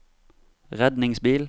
redningsbil